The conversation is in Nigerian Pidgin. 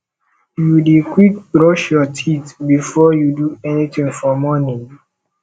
you dey quick brush your teeth before you do anything for morning